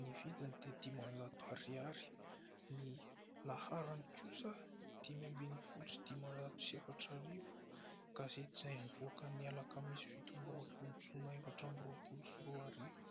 ny vidiny dia dimanjato ariary ; ny laharany kosa, dimy ambin'ny folo sy dimanjato sy efatra arivo ; gazety izay nivoaka ny alakamisy fito amby roapolo jona, efatra amby roapolo sy roa arivo.